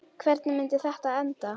Hvernig myndi þetta enda?